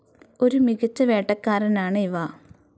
ഒരു മികച്ച വേട്ടക്കാരനാണ് ഇവ.